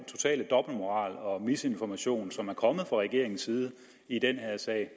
totale dobbeltmoral og misinformation som er kommet fra regeringens side i den her sag